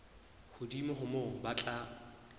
hodimo ho moo ba tla